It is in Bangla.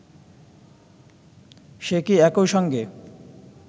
সে কি একই সঙ্গে